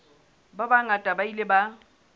ba bangata ba ile ba